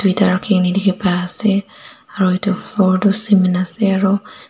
toita rakikina diki pai asae aro etu floor toh cement asae aro.